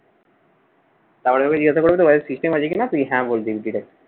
তারপরে আবার জিজ্ঞাসা করবে তোর কাছে system আছে কিনা? তুই হ্যাঁ, বলবি direct